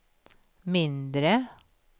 mindre